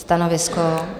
Stanovisko?